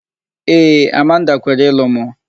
Ee, Amanda kwere ịlụ mụ.